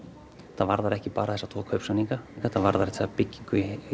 þetta varðar ekki bara þessa tvo kaupsamninga þetta varðar þessa byggingu í